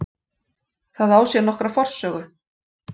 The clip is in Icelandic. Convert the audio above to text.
Það á sér nokkra forsögu.